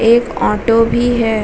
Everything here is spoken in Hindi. एक ऑटो भी है ।